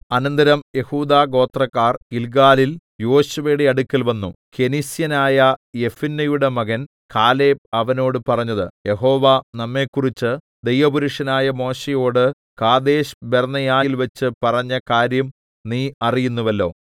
അനന്തരം യെഹൂദാ ഗോത്രക്കാർ ഗില്ഗാലിൽ യോശുവയുടെ അടുക്കൽ വന്നു കെനിസ്യനായ യെഫുന്നെയുടെ മകൻ കാലേബ് അവനോട് പറഞ്ഞത് യഹോവ നമ്മെക്കുറിച്ച് ദൈവപുരുഷനായ മോശെയോട് കാദേശ്ബർന്നേയയിൽവെച്ച് പറഞ്ഞ കാര്യം നീ അറിയുന്നുവല്ലോ